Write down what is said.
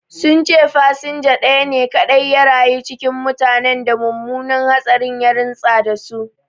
Sun ce fasinja ɗaya ne kaɗai ya rayu cikin mutanen da mummunan hatsarin ya rintsa da su